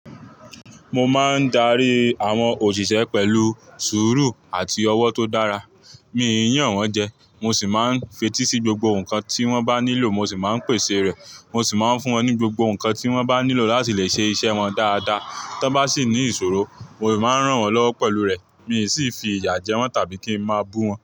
Mo máa ń darí àwọn òṣìṣẹ́ pẹ̀lú sùúrù àti ọwọ́ tó dára. Mi ò yàn wọ́n jẹ, mo sì máa ń fetí sí gbogbo nǹkan tí wọ́n bá nílò mo sì máa ń pèsè rẹ̀. Mo sì máa ń fún wọn ní gbogbo nǹkan tí wọ́n bá nílò láti lè ṣe iṣẹ́ wọn dáadáa. Tọ bá sì ní ìṣòro, mo sì máa ń ràn wọ́n lọ́wọ́ pẹ̀lú rẹ̀. Mi ò sì fi ìyà jẹ wọ́n tàbí kí ń máa bú wọ́n.